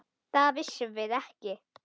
Það vissum við ekki.